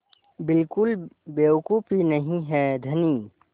बिल्कुल बेवकूफ़ी नहीं है धनी